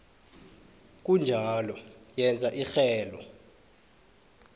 kunjalo yenza irhelo